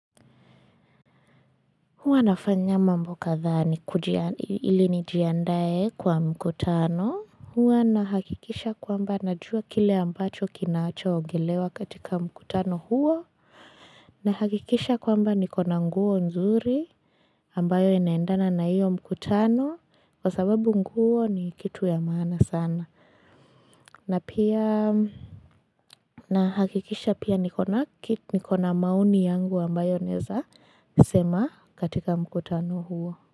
Huwa nafanya mambo kadha ili nijiandae kwa mkutano. Huwa nahakikisha kwamba najua kile ambacho kinacho ongelewa katika mkutano huo. Nahakikisha kwamba niko na nguo nzuri ambayo inaendana na hiyo mkutano kwa sababu nguo ni kitu ya maana sana. Nahakikisha pia niko na maoni yangu ambayo naeza sema katika mkutano huo.